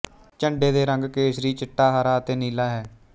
ਝੰਡੇ ਦੇ ਰੰਗ ਕੇਸਰੀ ਚਿੱਟਾ ਹਰਾ ਅਤੇ ਨੀਲਾ ਹੈ